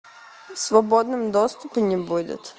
в свободном доступе не будет